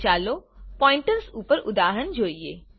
હવે ચાલો પોઈન્ટર્સ ઉપર ઉદાહરણ જોઈએ